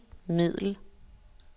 middel